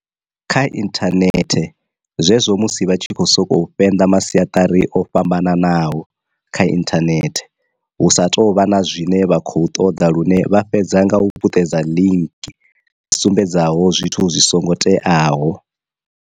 Kha inthanethe zwezwo musi vha tshi khou sokou fhenḓa masiatari o fhambanaho kha inthanethe hu sa tou vha na zwine vha khou ṱoḓa lune vha fhedza nga u puṱedza ḽinki dzi sumbedzaho zwithu zwi songo teaho.